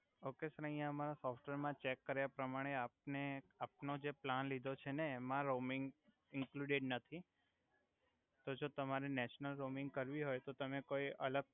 okay sir આય અમારા software મા ચેક કર્યા પ્રમાણે આપને આપનો જે પલાન લિધો છે ને એમા રોમિંગ ઇંકલુડેડ નથી તો જો તમારે નેશિઓનલ રોમિંગ કરવી હોય તો તમે કોઇ અલગ